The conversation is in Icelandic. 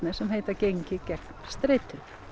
sem heita gengið gegn streitu